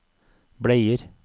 bleier